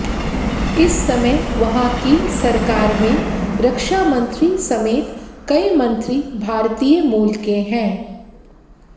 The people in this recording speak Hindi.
इस समय वहां की सरकार में रक्षा मंत्री समेत कई मंत्री भारतीय मूल के हैं